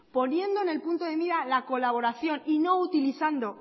poniendo en el punto de mira la colaboración y no utilizando